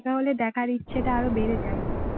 এটা হলে দেখার ইচ্ছেটা আরো বেড়ে যায়